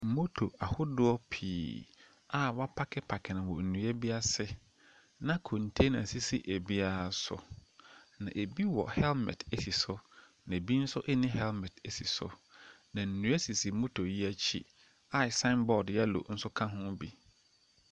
Moto ahodoɔ pii a wapakepake no wɔ nnua bi ase, na kɔntena sisi ebiaa so, na ebi wɔ hɛɛlmɛt esi so, na ebi nso enni hɛɛlmɛt esi so. Na nnua sisi moto yi akyi a saenbɔɔd yɛlo ɛka hoo bi.